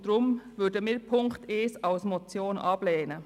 Deshalb lehnen wir Punkt 1 als Motion ab.